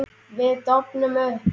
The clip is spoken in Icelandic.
Við dofnum upp.